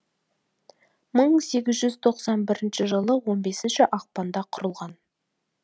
мың сегіз жүз тоқсан бірінші жылы он бесінші ақпанда құрылған